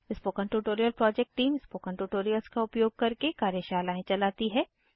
spoken tutorial project team spoken tutorials का उपयोग करके कार्यशालाएं चलाती है